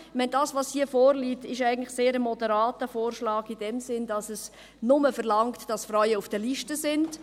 Was hier vorliegt, ist eigentlich ein sehr moderater Vorschlag in dem Sinn, dass er nur verlangt, dass Frauen auf den Listen sind.